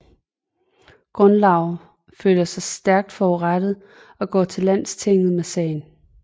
Gunnlaugr føler sig stærkt forurettet og går til landstinget med sagen